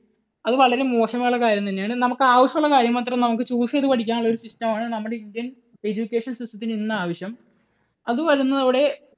അത് വളരെ മോശം ആയിട്ടുള്ള കാര്യം തന്നെയാണ്. നമുക്ക് ആവശ്യമുള്ള കാര്യം മാത്രം നമുക്ക് choose ചെയ്തു പഠിക്കാനുള്ള ഒരു system ആണ് നമ്മുടെ Indian education system ത്തിന് ഇന്ന് ആവശ്യം. അതു വരുന്നതോടെ